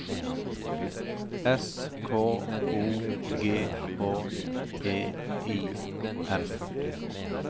S K O G H E I M